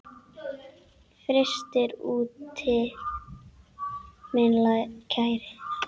Frystir úti minn kæri.